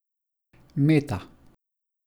Meta.